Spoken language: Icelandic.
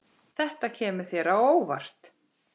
Þetta kemur þér á óvart.